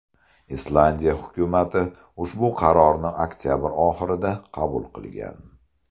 Islandiya hukumati ushbu qarorni oktabr oxirida qabul qilgan.